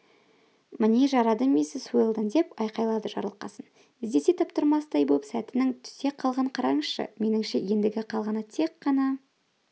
міне жарады миссис уэлдон деп айқайлады жарылқасын іздесе таптырмастай боп сәтінің түсе қалғанын қараңызшы меніңше ендігі қалғаны тек қана